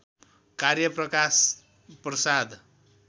कार्य प्रकाश प्रसाद